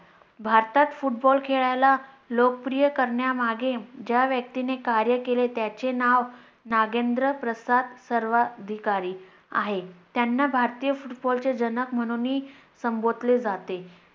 भारतात football खेळlला लोकप्रिय करण्यामागे ज्या व्यक्तीने कार्य केले त्याचे नाव नागेंद्र प्रसाद सर्वाधिकारी आहे. त्यांना भारतीय football चे जनक म्हणून ही संबोधले जाते.